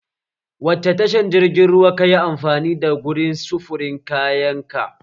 Wacce tashar jirgin ruwa kayi amfani da gurin sufurin kayan ka?